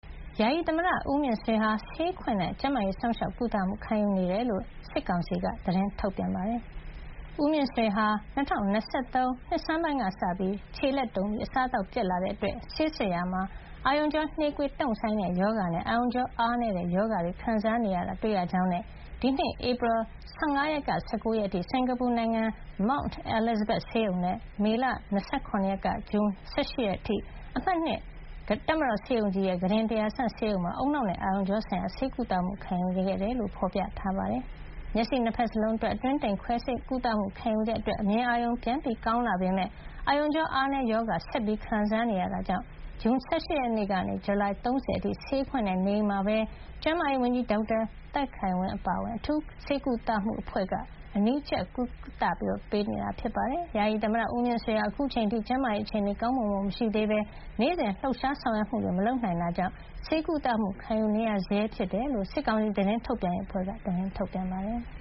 ယာယီသမ္မတဦးမြင့်ဆွေဟာ ဆေးခွင့်နဲ့ ကျန်းမာရေးစောင့်ရှောက်ကုသမှု ခံယူနေတယ်လို့ စစ်ကောင်စီက သတင်းထုတ်ပြန်ပါတယ်။ ဦးမြင့်ဆွေဟာ ၂၀၂၃ နှစ်ဆန်းပိုင်းကစပြီး - ခြေလက်တုန်ပြီး အစားသောက်ပျက်တဲ့ အတွက် ဆေးစစ်ရာမှာ အာရုံကြောနှေးကွေးတုန့်ဆိုင်းတဲ့ရောဂါနဲ့ အာရုံကြောအားနည်းတဲ့ရောဂါတွေခံစားနေရတာကို တွေ့ရကြောင်းနဲ့ ဒီနှစ် ဧပြီလ ၁၅ ကနေ ၁၉ ရက်နေ့အထိ စင်္ကာပူနိုင်ငံ Mount Elizabeth ဆေးရုံနဲ့ မေလ ၂၇ ရက်နေ့ကနေ ဇွန် ၁၈ ရက်နေ့အထိ အမှတ် ၂ တပ်မတော်ဆေးရုံကြီး ကုတင် ၁,၀၀၀ မှာ ဦးနှောက်နဲ့အာရုံကြောဆိုင်ရာ ဆေးကုသမှုခံယူခဲ့ရတယ်လို့ ဖေါ်ပြထားပါတယ်။ ဆေးရုံတက်နေစဉ်အတွင်း မျက်စိ ၂ ဘက်စလုံး အတွင်းတိမ် ခွဲစိတ်ကုသမှုခံယူခဲ့တဲ့ အတွက် အမြင်အာရုံ ပြန်ကောင်းလာပေမယ့် အာရုံကြောအားနည်းရောဂါ ဆက်လက်ခံစားနေရတဲ့အတွက် ဇွန်လ ၁၈ ရက်နေ့ကနေ ဇူလိုင် ၃၀ အထိ ဆေးခွင့်နဲ့ နေအိမ်မှာပဲ စစ်ကောင်စီကျန်းမာရေးဝန်ကြီး ဒေါက်တာသက်ခိုင်ဝင်းအပါအဝင် အထူးဆေးကုသမှု အဖွဲ့က အနီးကပ်ကြီးကြပ်ကုသပေးနေတယ်လို့ဆိုပါတယ်။ ဦးမြင့်ဆွေဟာ အခုချိန်အထိ ကျန်းမာရေးအခြေနေ တိုးတက်ကောင်းမွန်မလာသေးဘဲ နေ့စဉ်လှုပ်ရှားဆောင်ရွက်မှုတွေမလုပ်နိုင်တဲ့အတွက် ဆေးကုသမှုခံယူနေရဆဲလို့လည်း စစ်ကောင်စီ သတင်းထုတ်ပြန်ရေးအဖွဲ့က သတင်းထုတ်ပြန်ပါတယ်။